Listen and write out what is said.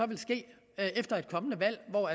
vil ske efter et kommende valg hvor